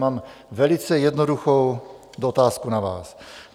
Mám velice jednoduchou otázku na vás.